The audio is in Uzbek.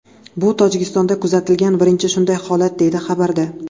Bu Tojikistonda kuzatilgan birinchi shunday holat, deyiladi xabarda.